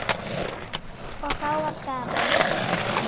Og þá var gaman.